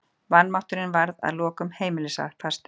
Vanmátturinn varð að lokum heimilisfastur.